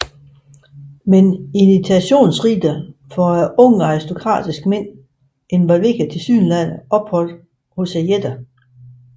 Men initiationsriter for unge aristokratiske mænd involverede tilsyneladende ophold hos jætter